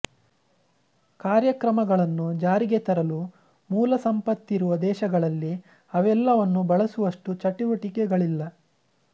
ಕಾರ್ಯಕ್ರಮಗಳನ್ನು ಜಾರಿಗೆ ತರಲು ಮೂಲ ಸಂಪತ್ತಿರುವ ದೇಶಗಳಲ್ಲಿ ಅವೆಲ್ಲವನ್ನೂ ಬಳಸುವಷ್ಟು ಚಟುವಟಿಕೆಗಳಿಲ್ಲ